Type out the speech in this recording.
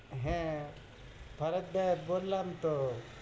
হ্যাঁ, ভরত দেব, বললাম তহ,